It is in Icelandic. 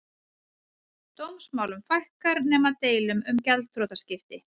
Dómsmálum fækkar nema deilum um gjaldþrotaskipti